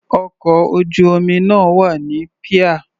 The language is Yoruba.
Ọkọ̀ ojú-omi náà wà ní píà.